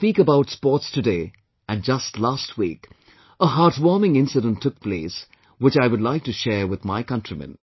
I speak about sports today, and just last week, a heartwarming incident took place, which I would like to share with my countrymen